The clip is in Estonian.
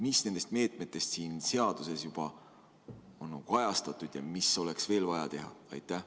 Mis nendest meetmetest siin seaduses juba on kajastatud ja mida oleks veel vaja teha?